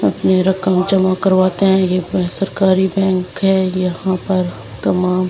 अपने रकम जमा करवाते हैं यहीं पर सरकारी बैंक है यहां पर कमा।